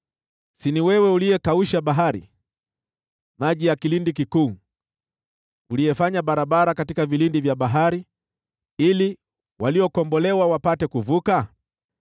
Si ni wewe uliyekausha bahari, maji ya kilindi kikuu, uliyefanya barabara katika vilindi vya bahari ili waliokombolewa wapate kuvuka?